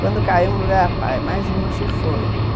Quando caiu, mais uma se foi.